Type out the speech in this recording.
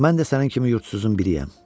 Mən də sənin kimi yurdsuzun biriyəm.